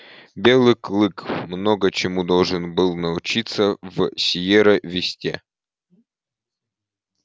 белый клык много чему должен был научиться в сиерра висте